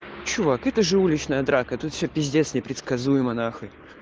чувак это же уличная драка тут все пиздец непредсказуемо нахуй